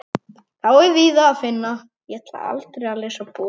Þá er víða að finna.